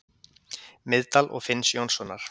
Miðdal og Finns Jónssonar.